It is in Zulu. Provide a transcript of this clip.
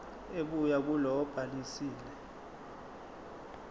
ebuya kulowo obhalisile